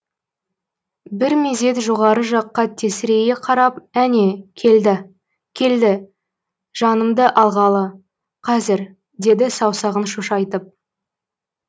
бір мезет жоғары жаққа тесірейе қарап әне келді келді жанымды алғалы қазір деді саусағын шошайтып